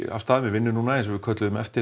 af stað með vinnu köllum eftir